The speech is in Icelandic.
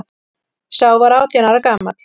Sá var átján ára gamall